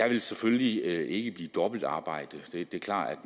vil selvfølgelig ikke blive dobbeltarbejde det er klart